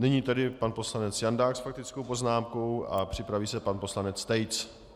Nyní tedy pan poslanec Jandák s faktickou poznámkou a připraví se pan poslanec Tejc.